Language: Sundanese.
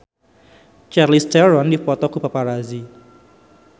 Charlize Theron dipoto ku paparazi